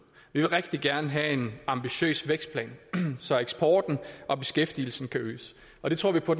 vi vil rigtig gerne have en ambitiøs vækstplan så eksporten og beskæftigelsen kan øges og det tror vi på